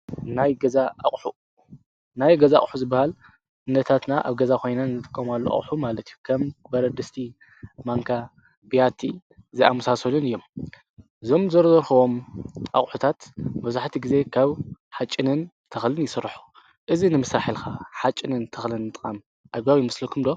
ናይ ገዛ ቕሑ ዝበሃል ነታትና ኣብ ገዛ ኾይናን ዘተቆማሉ ኣቕሑ ማለቲፍ ከም በረድስቲ ማንካ ብያቲ ዝኣምሳሶንን እዮም ዞም ዘረዘርክዎም ኣቝሑታት በዙሕቲ ጊዜ ካብ ሓጭንን ተኽልን ይሥራሑ እዝ ንምሳሐልካ ሓጭንን ተኽልን ም ኣጓዊ ይምስልኩምዶ?